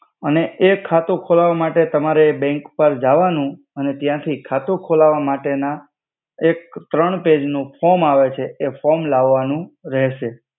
અને એ ખાતુ ખોલાવા માતે તમારે બેંક પર જાવાનુ અને તયાથી ખાતુ ખોલાવા માતે ના એક ત્રણ પૈજ નુ ફોમ આવે છે એ ફોમ લાવ્વાનુ રેહસે.